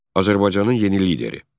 Azərbaycanın yeni lideri.